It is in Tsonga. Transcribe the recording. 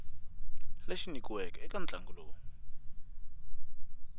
lexi nyikiweke eka ntlangu lowu